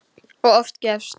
Og oft gefist upp.